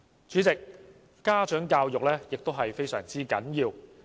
主席，家長教育同樣十分重要。